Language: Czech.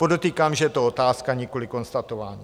Podotýkám, že to je otázka, nikoliv konstatování.